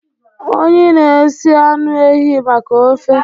Onyi na-esi anụ ehi maka ofe.